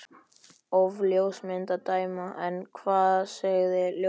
Af ljósmynd að dæma. en hvað segja ljósmyndir?